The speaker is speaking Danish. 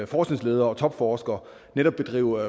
forskningsledere og topforskere netop bedrive